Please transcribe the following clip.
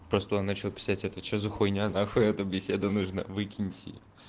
просто он начал писать это что за хуйня на хуй какая-то беседа нужна выкиньте